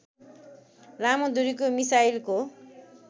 लामो दूरीको मिसाइलको